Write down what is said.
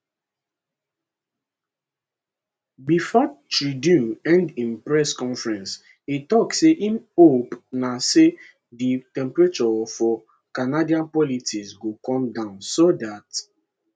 bifor trudeau end im press conference e tok say im hope na say di temperature for canadian politics go come down so dat